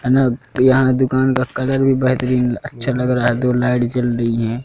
है न यहां दुकान का कलर भी बेहतरीन अच्छा लग रहा है दो लाइट जल रही हैं।